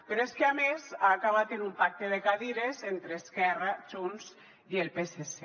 però és que a més ha acabat en un pacte de cadires entre esquerra junts i el psc